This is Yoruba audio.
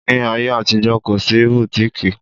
Ní ayé àtijó, kò sí bùtíkìì